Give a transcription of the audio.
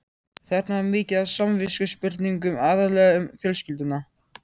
Þarna var mikið af samviskuspurningum, aðallega um fjölskylduna.